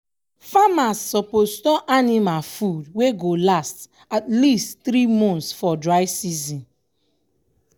farmers suppose store anima food wey go last at least three months for dry season.